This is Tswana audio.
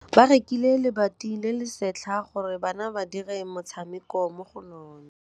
Ba rekile lebati le le setlha gore bana ba dire motshameko mo go lona.